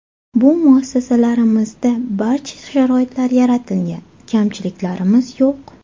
Bu muassasalarimizda barcha sharoitlar yaratilgan, kamchiliklarimiz yo‘q.